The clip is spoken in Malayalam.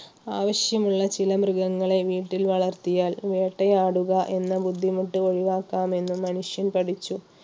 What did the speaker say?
ആവശ്യമുള്ള ചില മൃഗങ്ങളെ വീട്ടിൽ വളർത്തിയാൽ വേട്ടയാടുക എന്ന ബുദ്ധിമുട്ട് ഒഴിവാക്കാമെന്ന് മനുഷ്യൻ പഠിച്ചു